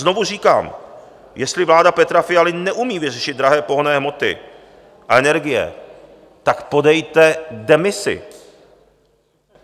Znovu říkám: jestli vláda Petra Fialy neumí vyřešit drahé pohonné hmoty a energie, tak podejte demisi.